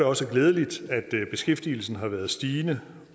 også glædeligt at beskæftigelsen har været stigende